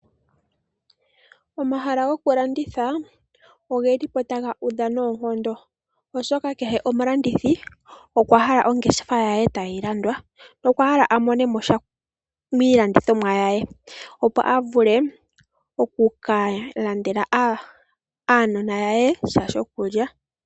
Omahala go kulanditha ogelipo taga udha noonkondo oshoka kehe omulandithi okwahala ongeshefa ye tayi landwa nokwahala amonemosha miilandithomwa ye opo avule okukalandela uunona we sha shokulya.